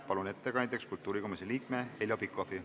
Palun ettekandjaks kultuurikomisjoni liikme Heljo Pikhofi.